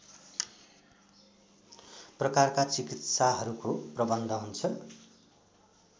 प्रकारका चिकित्साहरूको प्रबन्ध हुन्छ